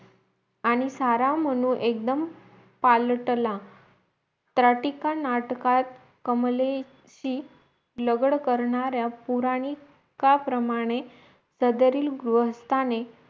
आणी सारा म्हणून एकदम पाळटला त्राटिका नाटका कमलेची लगड करणाऱ्या पौराणिकप्रमाणे सदरील गृहस्थाने